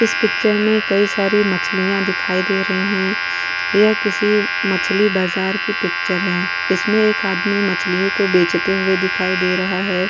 इस पिक्चर में कई सारे मछलियां दिखाई दे रही है यह किसी मछली बाजार की पिक्चर हैं। इसमें एक आदमी मछलियों को बेचते हुए दिखाई दे रहा है।